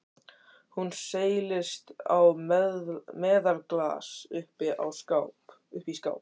Hún seilist í meðalaglas uppi í skáp.